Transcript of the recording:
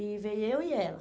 E veio eu e ela.